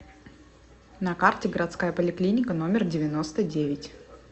на карте городская поликлиника номер девяносто девять